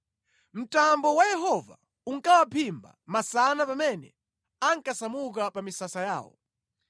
Mtambo wa Yehova unkawaphimba masana pamene ankasamuka pa misasa yawo.